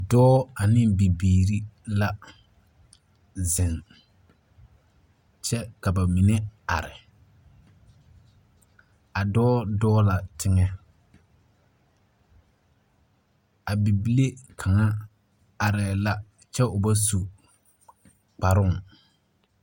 Dɔɔ ane bibiiri la. Zeŋ kyɛ ka ba mine are, a dɔ dɔɔ la teŋɛ. A bibile kaŋa arɛɛ la kyŋ o ba su kparoo.